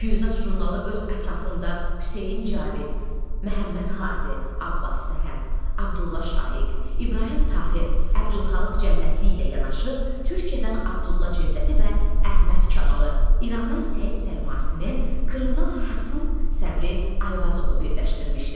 "Füyuzat" jurnalı öz ətrafında Hüseyn Cavid, Məhəmməd Hadi, Abbas Səhət, Abdulla Şaiq, İbrahim Tahir, Abdulxalıq Cənnətli ilə yanaşı, Türkiyədən Abdulla Cövdəti və Əhməd Kamalı, İrandan Səid Səlmasini, Krımdan Həsən Səbri Ayvazovu birləşdirmişdi.